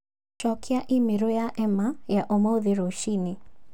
Cokia i-mīrū ya Emma ya ũmuthĩ rũcinĩ